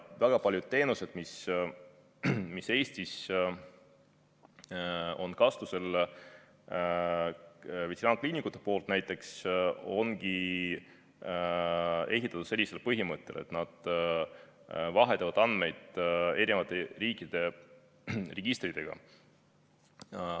Väga paljud teenused, mis Eestis on kasutusel, näiteks veterinaarkliinikute seas, ongi ehitatud sellisel põhimõttel, et nad vahetavad andmeid eri riikide registritega.